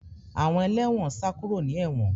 Àwọn ẹlẹ́wọ̀n sá kúrò ní ewon